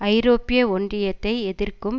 ஐரோப்பிய ஒன்றியத்தை எதிர்க்கும்